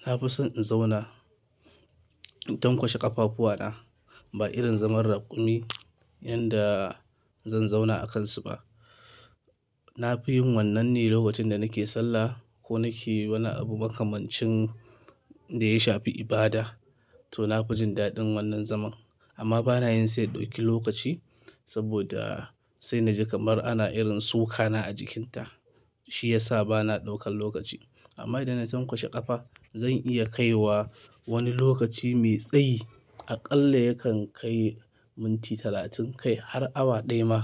Na fi son in zauna in tankwashe ƙafafuwana ba irin zaman raƙumi yanda zan zauna a kansu ba. Na fi yin wannan ne lokacin da nake sallah ko nake wani abu makamancin da ya shafi ibada. To na fi jin daɗin wannan zaman amma bana yin sai ya ɗauki lokaci saboda sai na ji kamar ana irin suka na a jikinta shi yasa bana ɗaukan lokaci. Amma idan na tankwashe ƙafa zan iya kai wa wani lokaci mai tsayi aƙalla yakan kai minti talatin kai har awa ɗaya ma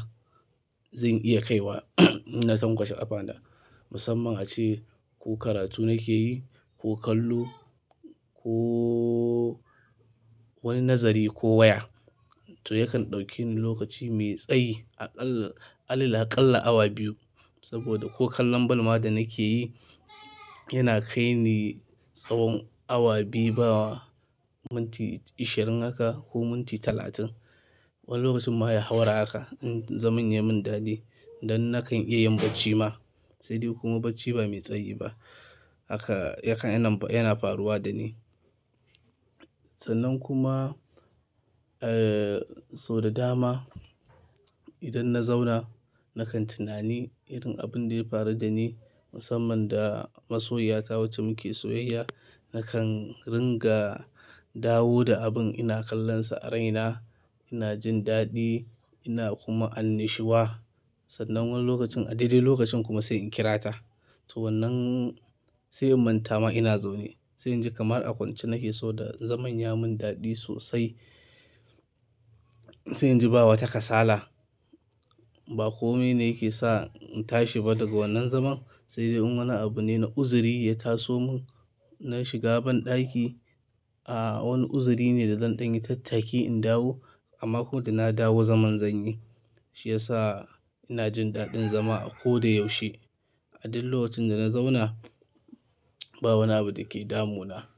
zan iya kai wa hmm na tankwashe ƙafana. Musamman ace ko karatu nake yi ko kallo kooo wani nazari ko waya to yakan ɗauke ni lokaci mai tsayi aƙalla, alil aƙalla awa biyu saboda ko kallon balma da nake yi yana kai ni tsawon awa biyu bawa minti ishirin haka ko minti talatin. Wani lokacin ma ya haura haka in zaman yai min daɗi. Dan nakan iya yin bacci ma sai dai kuma bacci ba mai tsayi ba haka yakan yana, yana faruwa da ni. Sannan kuma, eeeh, sau da dama idan na zauna nakan tunani irin abun da ya faru da ni musamman da masoyiya ta wacce muke soyayya. Nakan ringa dawo da abin ina kallonsa a raina ina jin daɗi ina kuma annashuwa. Sannan wani lokacin a daidai lokacin kuma sai in kirata. To wannan sai in manta ma ina zaune sai in ji kamar a kwance nake so da zaman ya min daɗi sosai. Sai na ji ba wata kasala ba komi ne yake sa in tashi ba daga wannan zaman sai dai in wani abu ne na uzuri ya taso mun na shiga banɗaki. Aaah wani uzuri ne da zan ɗanyi tattaki in dawo amma ko da na dawo zaman zanyi. Shi yasa ina jin daɗin zama a ko da yaushe. A dul locin da na zauna ba wani abu da ke damuna.